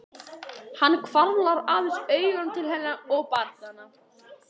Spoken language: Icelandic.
Hann hvarflar aðeins augum til hennar og barnanna.